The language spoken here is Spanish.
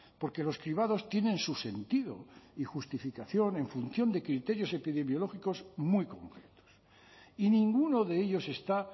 porque los cribados tienen su sentido y justificación en función de criterios epidemiológicos muy concretos y ninguno de ellos está